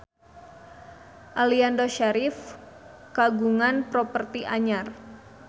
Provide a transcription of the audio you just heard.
Aliando Syarif kagungan properti anyar